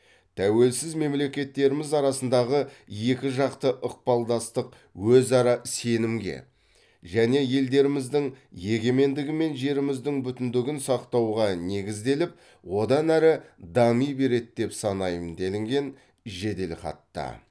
тәуелсіз мемлекеттеріміз арасындағы екіжақты ықпалдастық өзара сенімге және елдеріміздің егемендігі мен жеріміздің бүтіндігін сақтауға негізделіп одан әрі дами береді деп санаймын делінген жеделхатта